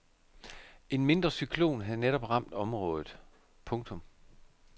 En mindre cyklon havde netop ramt området. punktum